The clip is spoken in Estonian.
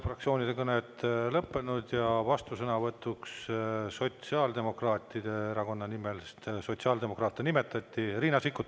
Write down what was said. Fraktsioonide kõned on lõppenud ja vastusõnavõtu Sotsiaaldemokraatliku Erakonna nimel, sest sotsiaaldemokraate nimetati, saab Riina Sikkut.